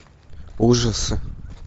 ужасы